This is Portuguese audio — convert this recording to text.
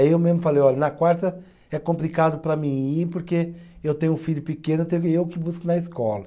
Aí eu mesmo falei, olha, na quarta é complicado para mim ir, porque eu tenho um filho pequeno, eu tenho que, eu que busco na escola.